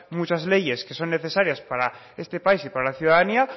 mucha leyes que son necesarias para este país y para la ciudadanía